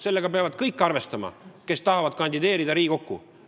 Sellega peavad arvestama kõik, kes tahavad kandideerida Riigikokku.